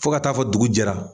Fo ka taa fɔ dugujɛra